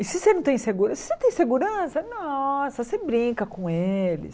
E se você não tem segu, se você tem segurança, nossa, você brinca com eles.